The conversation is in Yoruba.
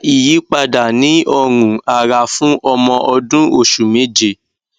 kini o fa iyipada ni orun ara fun omo odun osu meje